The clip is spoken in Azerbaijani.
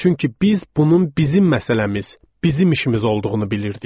Çünki biz bunun bizim məsələmiz, bizim işimiz olduğunu bilirdik.